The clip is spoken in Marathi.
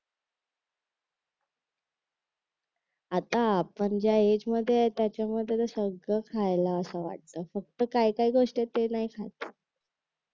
आता आपण ज्या एजमध्ये आहे त्याच्यामध्ये तर सगळं खायला असं वाटतं फक्त काय काय गोष्टी आहेत त्या नाही खात